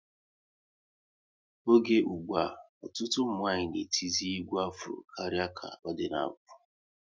Oge ụgbụa, ọtụtụ ụmụnwanyị na etizi egwu Afro karịa ka ọ dịbu n'mbu